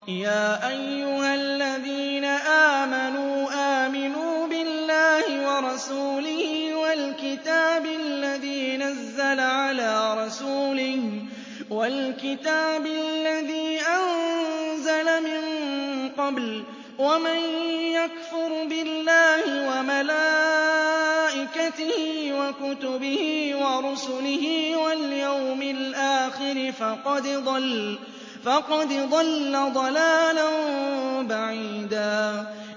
يَا أَيُّهَا الَّذِينَ آمَنُوا آمِنُوا بِاللَّهِ وَرَسُولِهِ وَالْكِتَابِ الَّذِي نَزَّلَ عَلَىٰ رَسُولِهِ وَالْكِتَابِ الَّذِي أَنزَلَ مِن قَبْلُ ۚ وَمَن يَكْفُرْ بِاللَّهِ وَمَلَائِكَتِهِ وَكُتُبِهِ وَرُسُلِهِ وَالْيَوْمِ الْآخِرِ فَقَدْ ضَلَّ ضَلَالًا بَعِيدًا